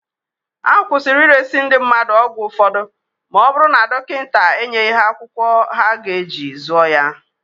Akwụsịrị ịresị ndị mmadụ ọgwụ ụfọdụ ma ọ bụrụ na dọnkịnta enyeghị ha akwụkwọ ha ga-eji zụọ ya.